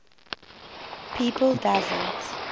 people doesn t